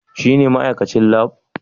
Shine ma'aikacin Lab?